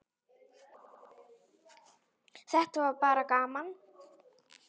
Þetta verður bara gaman.